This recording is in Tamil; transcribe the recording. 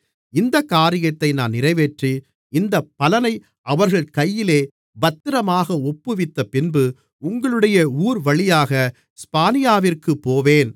இந்தக் காரியத்தை நான் நிறைவேற்றி இந்தப் பலனை அவர்கள் கையிலே பத்திரமாக ஒப்புவித்தப்பின்பு உங்களுடைய ஊர்வழியாக ஸ்பானியாவிற்குப் போவேன்